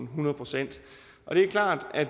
hundrede procent og det er klart at